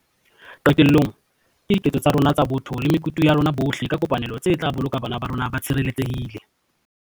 Qetellong, ke diketso tsa rona tsa botho le mekutu ya rona bohle ka kopanelo tse tla boloka bana ba rona ba tshireletsehile.